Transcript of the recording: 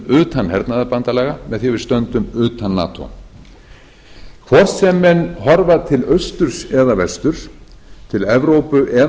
utan hernaðarbandalaga með því að við stöndum utan nato hvort sem menn horfa til austurs eða vesturs til evrópu eða